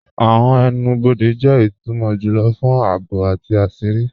Awọn ẹnu-bọdẹ jẹ itumọ júlọ̀ fún ààbò àti àṣírí.